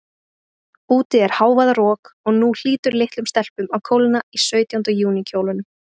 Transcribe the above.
Úti er hávaðarok, og nú hlýtur litlum stelpum að kólna í sautjánda júní kjólunum.